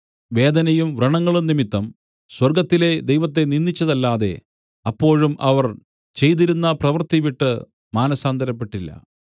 വേദനയും വ്രണങ്ങളും നിമിത്തം സ്വർഗ്ഗത്തിലെ ദൈവത്തെ നിന്ദിച്ചതല്ലാതെ അപ്പോഴും അവർ ചെയ്തിരുന്ന പ്രവൃത്തി വിട്ടു മാനസാന്തരപ്പെട്ടില്ല